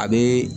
A bɛ